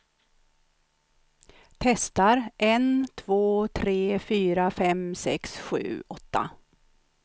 Testar en två tre fyra fem sex sju åtta.